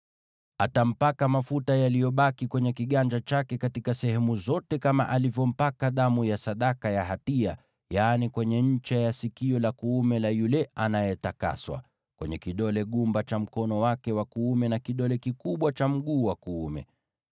Atampaka mafuta yaliyobaki kwenye kiganja chake katika sehemu zote, kama alivyompaka damu ya sadaka ya hatia: yaani, kwenye ncha ya sikio la kuume la yule anayetakaswa, kwenye kidole gumba cha mkono wake wa kuume, na kidole kikubwa cha mguu wake wa kuume.